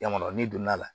Yan kɔni n'i donna la